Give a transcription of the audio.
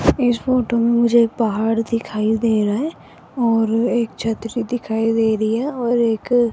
इस फोटो में मुझे एक पहाड़ दिखाई दे रहा है और एक छतरी दिखाई दे रही है और एक --